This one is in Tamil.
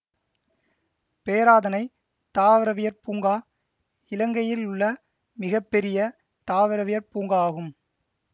பேராதனை தாவரவியற் பூங்கா இலங்கையிலுள்ள மிக பெரிய தாவரவியற் பூங்கா ஆகும்